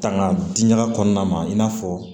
Tanga diɲaga kɔnɔna ma i n'a fɔ